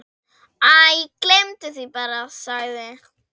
Æ, gleymdu því bara- sagði